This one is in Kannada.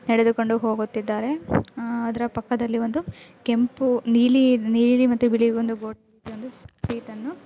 ನಡೆದುಕೊಂಡು ಹೋಗುತ್ತಿದ್ದಾರೆ-- ಅಹ್ ಅದರ ಪಕ್ಕದಲ್ಲಿ ಒಂದು ಕೆಂಪು ನೀಲಿ ನೀಲಿ ಮತ್ತೆ ಬಿಳಿ ಒಂದು ಸೀಟ್ ಅನ್ನು--